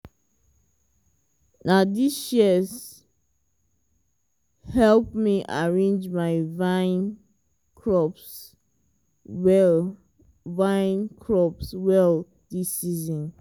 na these shears help me arrange my vine crops well vine crops well this season.